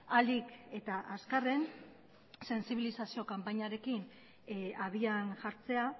ahalik eta azkarren sentsibilizazio kanpainarekin abian jartzea